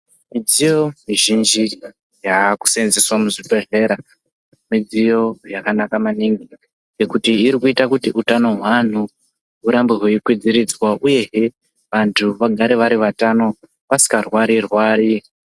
Midziyo mizhinji yakusenzeswa muzvibhedhlera midziyo yakanaka maningi. Nekuti irikuita kuti utano hweantu urambe hweikwidziridzwa, uyehe vantu vagare vari vatano vasikarwari-rwari.